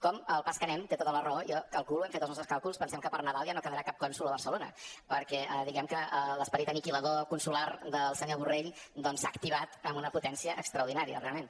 com al pas que anem té tota la raó jo calculo hem fet els nostres càlculs pensem que per nadal ja no quedarà cap cònsol a barcelona perquè diguem ne que l’esperit anihilador consular del senyor borrell s’ha activat amb una potència extraordinària realment